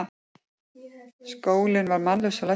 Skólinn var mannlaus og læstur.